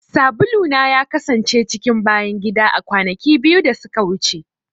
Sabula na ya kasance cikin bayan gida a kwanaki biyu da suka wuce.